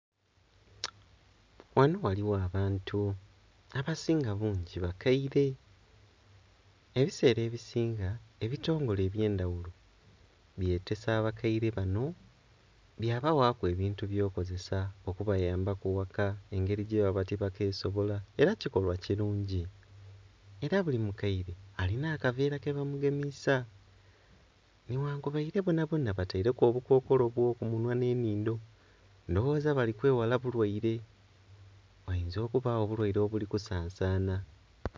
Ghano ghaligho abantu abasinga bungi bakaire. Ebiseera ebisinga ebitongole eby'endhaghulo byetesa abakaire bano bya baghaku ebintu eby'okozesa okubayamba ku eghaka engeri gyebaba tibakesobola era kikolwa kirungi. Era buli mukaire alina akaveera kebamugemiisa, nighankubaire bonabona bataireku obukookolo obw'okumunhwa n'ennhindho. Ndhoghoza bali kweghala bulwaire, ghayinza okubagho obulwaire obuli kusansana.